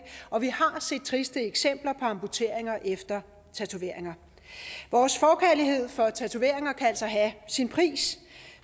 og vi har set triste eksempler på amputeringer efter tatoveringer vores forkærlighed for tatoveringer kan altså have sin pris